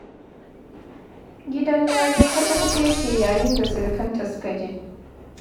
Gidan Larai kaca-kaca ya ke yayin da surukanta suka je.